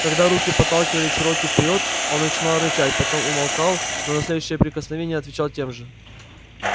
когда руки подталкивали чероки вперёд он начинал рычать потом умолкал но на следующее прикосновение отвечал тем же